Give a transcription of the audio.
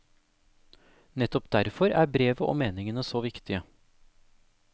Nettopp derfor er brevet og meningene så viktige.